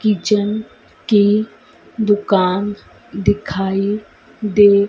kitchen के दुकान दिखाई दे--